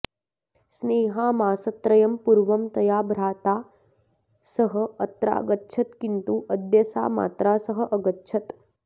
स्नेहा मासत्रयं पूर्वं तया भ्राता सह अत्रागच्छत् किन्तु अद्य सा मात्रा सह अगच्छत्